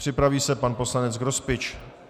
Připraví se pan poslanec Grospič.